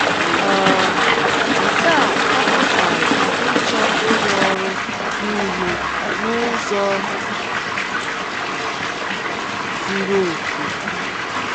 um Nke a apụtaghị ịchọ ịrụ ọrụ nile n’ụzọ zuru okè.